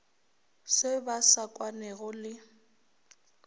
se ba sa kwanego le